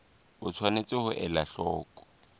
o tshwanetse ho ela hloko